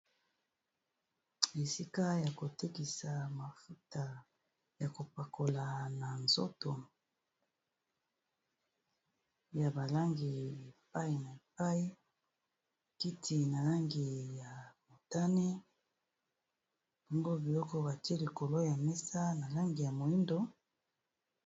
Esika ya kotekisa mafuta ya kopakola na nzoto ya balangi epai na epai kiti na langi ya motane bongo biloko batie likolo ya mesa na langi ya moyindo.